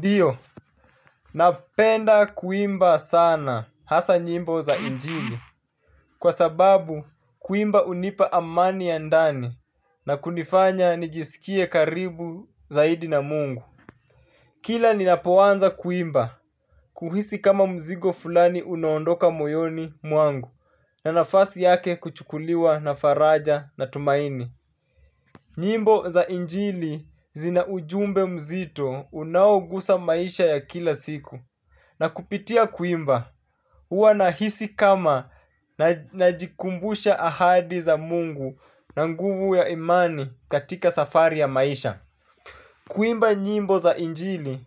Ndio, napenda kuimba sana hasa nyimbo za injili kwa sababu kuimba hunipa amani ya ndani na kunifanya nijisikie karibu zaidi na mungu. Kila ninapoanza kuimba, huhisi kama mzigo fulani unaondoka moyoni mwangu na nafasi yake kuchukuliwa na faraja na tumaini. Nyimbo za injili zina ujumbe mzito unaogusa maisha ya kila siku. Na kupitia kuimba, huwa nahisi kama najikumbusha ahadi za mungu na nguvu ya imani katika safari ya maisha. Kuimba nyimbo za injili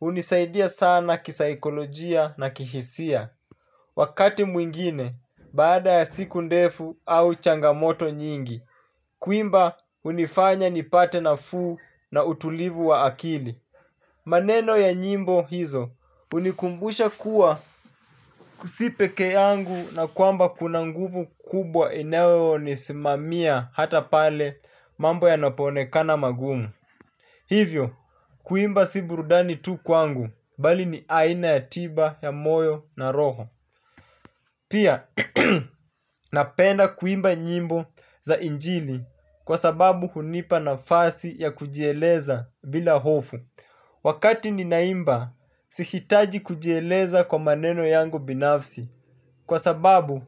hunisaidia sana kisaikolojia na kihisia. Wakati mwingine baada ya siku ndefu au changamoto nyingi, kuimba hunifanya nipate nafuu na utulivu wa akili. Maneno ya nyimbo hizo hunikumbusha kuwa si pekee yangu na kwamba kuna nguvu kubwa inayo nisimamia hata pale mambo yanapoonekana magumu. Hivyo, kuimba si burudani tu kwangu, bali ni aina ya tiba ya moyo na roho. Pia, napenda kuimba nyimbo za injili kwa sababu hunipa nafasi ya kujieleza bila hofu. Wakati ninaimba, sihitaji kujieleza kwa maneno yangu binafsi kwa sababu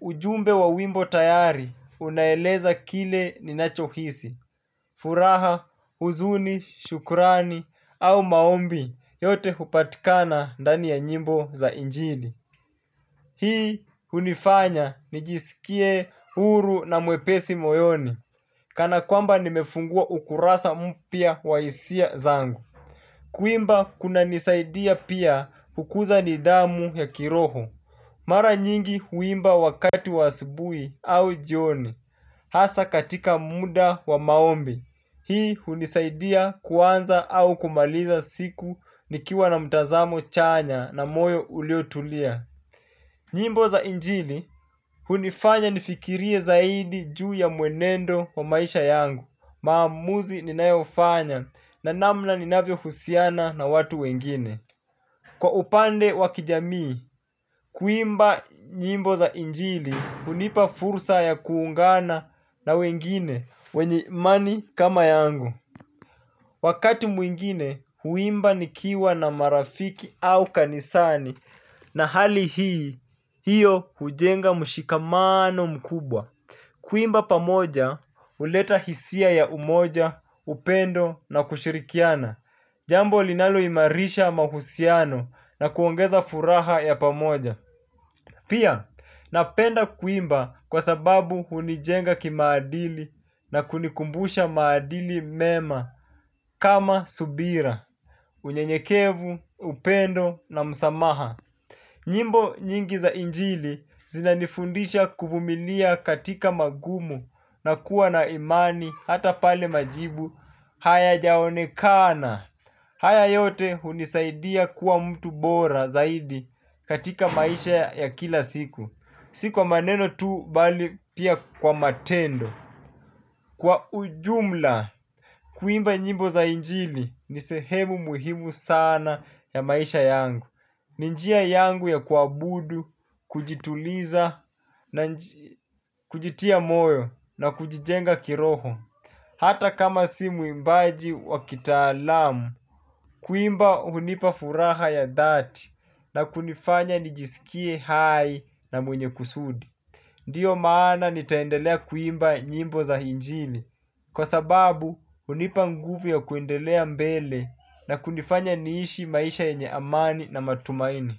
ujumbe wa wimbo tayari unaeleza kile ninachohisi, furaha, huzuni, shukurani au maombi, yote hupatikana ndani ya nyimbo za injini. Hii hunifanya nijisikie huru na mwepesi moyoni kana kwamba nimefungua ukurasa mpya wa hisia zangu. Kuimba kunanisaidia pia kukuza nidhamu ya kiroho. Mara nyingi huimba wakati wa asubuhi au jioni. Hasa katika muda wa maombi hii hunisaidia kuanza au kumaliza siku nikiwa na mtazamo chanya na moyo uliotulia. Nyimbo za njili hunifanya nifikirie zaidi juu ya mwenendo wa maisha yangu, maamuzi ninayofanya na namna ninavyohusiana na watu wengine. Kwa upande wa kijamii, kuimba nyimbo za injili hunipa fursa ya kuungana na wengine wenye imani kama yangu. Wakati mwingine, huimba nikiwa na marafiki au kanisani na hali hii, hiyo hujenga mshikamano mkubwa. Kuimba pamoja, huleta hisia ya umoja, upendo na kushirikiana. Jambo linaloimarisha mahusiano na kuongeza furaha ya pamoja. Pia, napenda kuimba kwa sababu hunijenga kimaadili na kunikumbusha maadili mema kama subira, unyenyekevu, upendo na msamaha. Nyimbo nyingi za injili zinanifundisha kuvumilia katika magumu na kuwa na imani hata pale majibu hayajaonekana. Haya yote hunisaidia kuwa mtu bora zaidi katika maisha ya kila siku. Si kwa maneno tu bali pia kwa matendo. Kwa ujumla, kuimba nyimbo za injili ni sehemu muhimu sana ya maisha yangu. Ni njia yangu ya kuabudu, kujituliza, kujitia moyo na kujijenga kiroho. Hata kama si muimbaji wa kitaalamu, kuimba hunipa furaha ya dhati na kunifanya nijisikie hai na mwenye kusudi. Ndio maana nitaendelea kuimba nyimbo za injili. Kwa sababu, hunipa nguvu ya kuendelea mbele na kunifanya niishi maisha yenye amani na matumaini.